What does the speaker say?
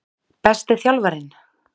Besti þjálfarinn?